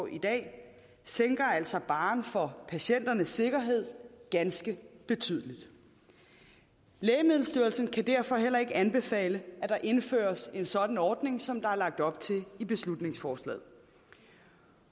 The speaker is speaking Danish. i dag sænker altså barren for patienternes sikkerhed ganske betydeligt lægemiddelstyrelsen kan derfor heller ikke anbefale at der indføres en sådan ordning som der er lagt op til i beslutningsforslaget